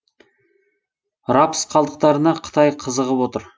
рапс қалдықтарына қытай қызығып отыр